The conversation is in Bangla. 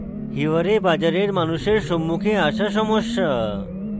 hiware bazar এর মানুষের সম্মুখে আসা সমস্যা